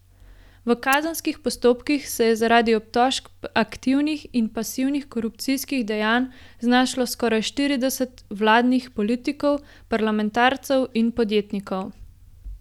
V kazenskih postopkih se je zaradi obtožb aktivnih in pasivnih korupcijskih dejanj znašlo skoraj štirideset vladnih politikov, parlamentarcev in podjetnikov.